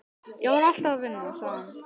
Ég var alltaf að vinna, sagði hann.